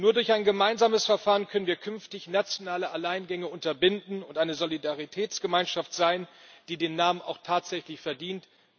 Nur durch ein gemeinsames Verfahren können wir künftig nationale Alleingänge unterbinden und eine Solidaritätsgemeinschaft sein, die den Namen auch tatsächlich verdient.